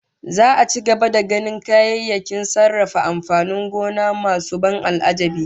Za'a ci gaba da ganin kayayyakin sarrafa amfanin gona masu ban al'ajabi